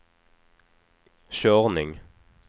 körning